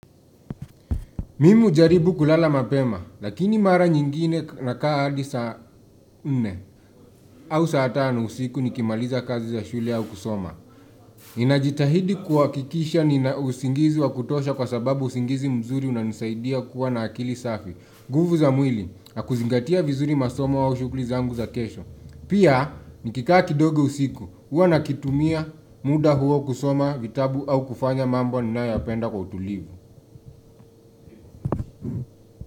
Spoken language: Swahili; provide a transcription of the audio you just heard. Mimi hujaribu kulala mapema, lakini mara nyingine ka nakaa hadi sa nne au saa tano usiku nikimaliza kazi za shule au kusoma. Ninajitahidi kuhakikisha ninausigizi wa kutosha kwa sababu, usigizi mzuri unanisaidia kuwa na akili safi. Nguvu za mwili, nakuzigatia vinzuri masomo au shughuli zangu za kesho. Pia, nikikaa kindogo usiku, huwa nakitumia muda huo kusoma vitabu au kufanya mambo ninayoyapenda kwa utulivu.